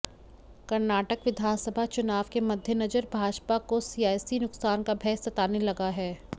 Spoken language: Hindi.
कर्नाटक विधानसभा चुनाव के मद्देनजर भाजपा को सियासी नुकसान का भय सताने लगा है